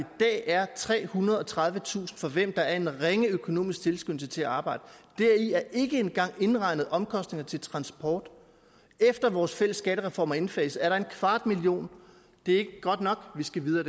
dag er trehundrede og tredivetusind for hvem der er en ringe økonomisk tilskyndelse til at arbejde deri er ikke engang indregnet omkostninger til transport efter vores fælles skattereform er indfaset er der en kvart million det er ikke godt nok vi skal videre